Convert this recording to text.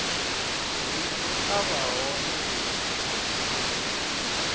bindu a vha hone ndi